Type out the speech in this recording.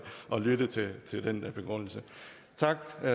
at lytte til den begrundelse tak for